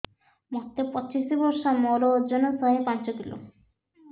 ମୋତେ ପଚିଶି ବର୍ଷ ମୋର ଓଜନ ଶହେ ପାଞ୍ଚ କିଲୋ